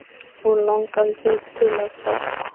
Og langaði þig til að hjálpa?